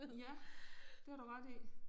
Ja det har du ret i